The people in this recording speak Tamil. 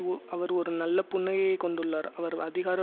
ஓர் அவர் ஒரு நல்ல புன்னகையைக் கொண்டுள்ளார் அவர் அதிகார